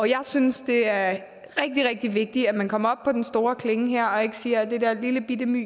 jeg synes det er rigtig rigtig vigtigt at man kommer op på den store klinge her og ikke siger at det er det lillebitte